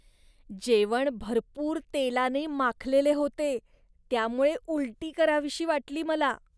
जेवण भरपूर तेलाने माखलेले होते, त्यामुळे उलटी करावीशी वाटली मला.